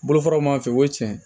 Bolofaraw m'a fɛ o ye tiɲɛ ye